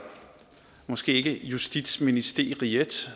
måske ikke justitsministeriet